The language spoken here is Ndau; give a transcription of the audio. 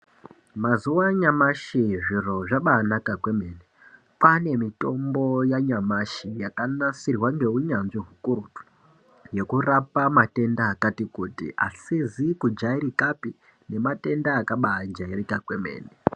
Mazuwa anyamashi zviro zvabaanaka kwemene kwaane mitombo yanyamashi yakanasirwa ngeunyanzvi hukurutu yekurapa matenda akati kuti asizi kujairikapi nematenda akabaajairika kwemene.